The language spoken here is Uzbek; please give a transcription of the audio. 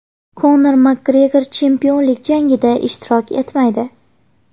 Konor Makgregor chempionlik jangida ishtirok etmaydi.